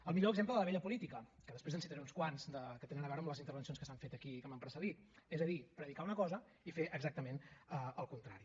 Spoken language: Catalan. el millor exemple de la vella política que després en citaré uns quants que tenen a veure amb les intervencions que s’han fet aquí i que m’han precedit és a dir predicar una cosa i fer exactament el contrari